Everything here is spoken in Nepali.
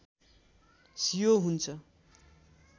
सियो हुन्छ